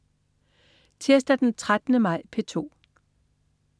Tirsdag den 13. maj - P2: